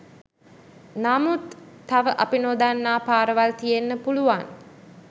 නමුත් තව අපි නොදන්නා පාරවල් තියෙන්න පුළුවන්.